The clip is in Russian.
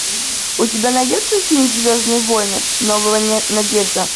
у тебя найдется фильм звездные войны новая надежда